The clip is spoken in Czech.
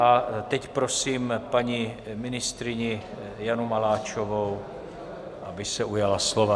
A teď prosím paní ministryni Janu Maláčovou, aby se ujala slova.